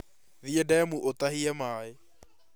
Thiĩ ndemu ũtahie maĩ